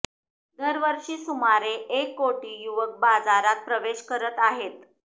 दरवर्षी सुमारे एक कोटी युवक बाजारात प्रवेश करत आहेत